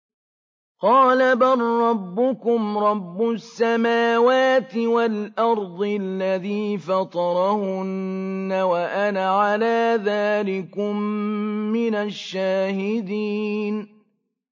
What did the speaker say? قَالَ بَل رَّبُّكُمْ رَبُّ السَّمَاوَاتِ وَالْأَرْضِ الَّذِي فَطَرَهُنَّ وَأَنَا عَلَىٰ ذَٰلِكُم مِّنَ الشَّاهِدِينَ